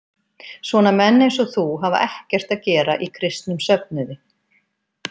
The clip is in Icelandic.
Svona menn eins og þú hafa ekkert að gera í kristnum söfnuði.